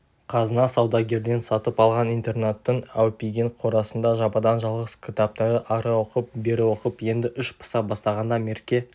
қазына саудагерден сатып алған интернаттың әупиген қорасында жападан-жалғыз кітапты ары оқып бері оқып енді іш пыса бастағанда мерке